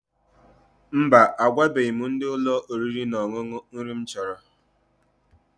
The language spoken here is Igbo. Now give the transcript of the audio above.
Mba, agwabeghi m ndị ụlọ oriri na ọṅụṅụ nri m chọrọ.